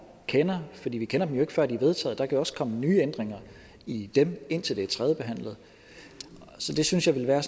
kender fordi vi kender dem før de er vedtaget der kan jo også kommet nye ændringer i dem indtil det er tredjebehandlet så det synes jeg ville være